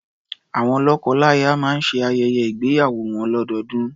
Awọn lọ́kọlaya máa ń ṣe ayẹyẹ ígbéyàwó wọn lọ́dọọdún.